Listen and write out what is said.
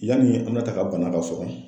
Yani an ba ta ka bana ka so kɔnɔ